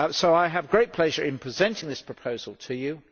I have great pleasure in presenting this proposal to you.